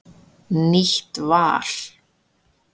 Nýtt val